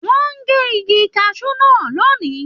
Wọn n gé igi kasú náà lónì.